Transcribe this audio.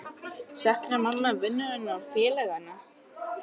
Saknaði mamma vinnunnar og félaganna?